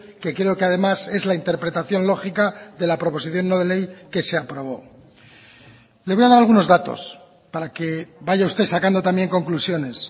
que creo que además es la interpretación lógica de la proposición no de ley que se aprobó le voy a dar algunos datos para que vaya usted sacando también conclusiones